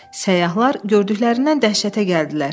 Səyyahlar gördüklərindən dəhşətə gəldilər.